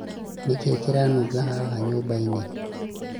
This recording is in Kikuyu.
nĩkĩĩ kĩranunga haha nyũmba-inĩ?